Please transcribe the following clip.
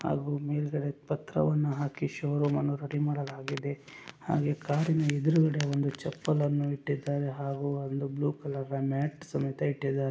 ಮೇಲ್ಗಡೆ ಪತ್ರವನ್ನು ಹಾಕಿ ಶೋ ರೂಮ್ ಅನ್ನು ರೆಡಿ ಮಾಡಲಾಗಿದೆ ಹಾಗೆ ಕಾರಿನ ಎದ್ರುಗಡೆ ಒಂದು ಚಪ್ಪಲ್ ಅನ್ನು ಇಟ್ಟಿದ್ದಾರೆ ಹಾಗು ಒಂದು ಬ್ಲೂ ಕಲರ್ ಮ್ಯಾಟ್ ಸಮೇತ ಇಟ್ಟಿದ್ದಾರೆ.